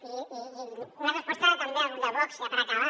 i una resposta també al grup de vox ja per acabar